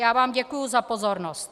Já vám děkuju za pozornost.